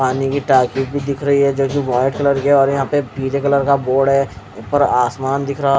की टाकी भी दिख रहा है जो की व्हाइट कलर की है और यहाँ पे पिले कलर का बोर्ड है और आसमान दिख रहा है.